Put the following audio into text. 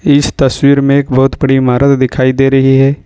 इस तस्वीर में एक बहुत बड़ी इमारत दिखाई दे रही है।